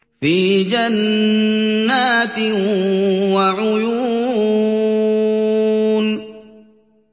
فِي جَنَّاتٍ وَعُيُونٍ